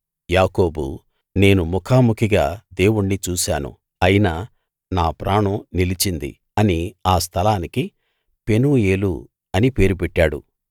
యాకోబు నేను ముఖాముఖిగా దేవుణ్ణి చూశాను అయినా నా ప్రాణం నిలిచింది అని ఆ స్థలానికి పెనూయేలు అని పేరు పెట్టాడు